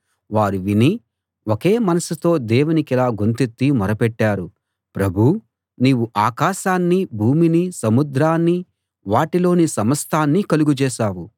వారు విని ఒకే మనసుతో దేవునికిలా గొంతెత్తి మొరపెట్టారు ప్రభూ నీవు ఆకాశాన్నీ భూమినీ సముద్రాన్నీ వాటిలోని సమస్తాన్నీ కలుగజేశావు